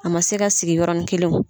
A ma se ka sigi yɔrɔnin kelen wo!